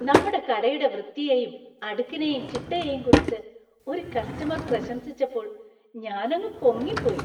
നമ്മുടെ കടയുടെ വൃത്തിയെയും അടുക്കിനെയും ചിട്ടയെയും കുറിച്ച് ഒരു കസ്റ്റമർ പ്രശംസിച്ചപ്പോൾ ഞാനങ്ങു പൊങ്ങിപ്പോയി.